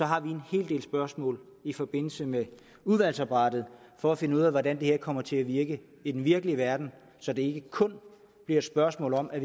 har en hel del spørgsmål i forbindelse med udvalgsarbejdet for at finde ud af hvordan det her kommer til at virke i den virkelige verden så det ikke kun bliver et spørgsmål om at